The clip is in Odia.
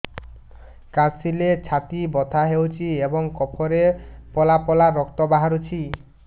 କାଶିଲେ ଛାତି ବଥା ହେଉଛି ଏବଂ କଫରେ ପଳା ପଳା ରକ୍ତ ବାହାରୁଚି